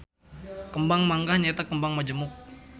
Kembang manggah nyaeta kembang majemuk.